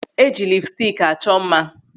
Eji lipstik achọ mma.